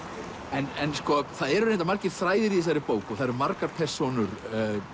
en það eru reyndar margir þræðir í þessari bók og margar persónur